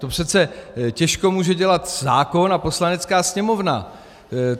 To přece těžko může dělat zákon a Poslanecká sněmovna.